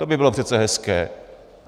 To by bylo přece hezké.